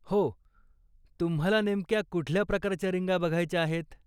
हो, तुम्हाला नेमक्या कुठल्या प्रकारच्या रिंगा बघायच्या आहेत?